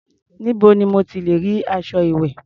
Níbo ni mo ti lẹ̀ rí aṣọ ìwẹ̀?